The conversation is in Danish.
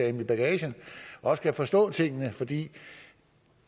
i bagagen også kan forstå tingene for det